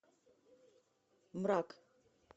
мрак